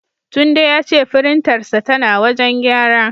Tunde ya ce firintarsa tana wajen gyara.